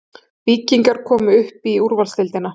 Víkingar komnir upp í úrvalsdeildina